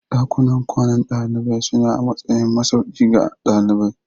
Dakunan kwanan dalibai suna a matsayin masauki ga dalibai.